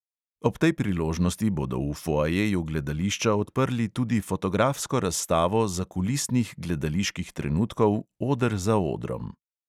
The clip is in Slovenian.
Ob tej priložnosti bodo v foajeju gledališča odprli tudi fotografsko razstavo zakulisnih gledaliških trenutkov oder za odrom.